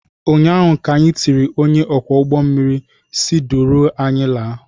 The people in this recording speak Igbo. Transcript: ụnyaahụ ka anyị tiri ,onye ọkwọ ụgbọ mmiri si duru anyị laa!